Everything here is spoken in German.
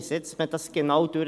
Wie setzt man das genau um?